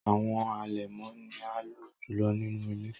Awọn alẹmọ ni a lo julọ ninu ile.